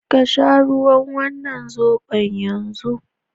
Ka sha wannan zobon yanzu!